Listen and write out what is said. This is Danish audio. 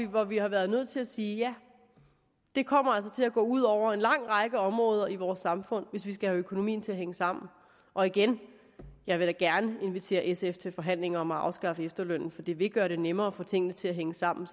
hvor vi har været nødt til at sige ja det kommer altså til at gå ud over en lang række områder i vores samfund hvis vi skal have økonomien til at hænge sammen og igen jeg vil da gerne invitere sf til forhandlinger om at afskaffe efterlønnen for det vil gøre det nemmere at få tingene til at hænge sammen